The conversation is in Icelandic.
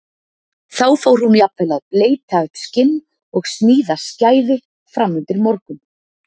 Þá fór hún jafnvel að bleyta upp skinn og sníða skæði fram undir morgun.